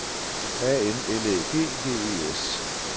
A N L Æ G G E S